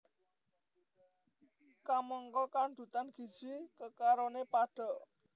Kamangka kandhutan gizi kekaroné padha